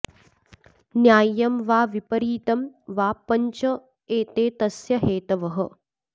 न्याय्यम् वा विपरीतं वा पञ्च एते तस्य हेतवः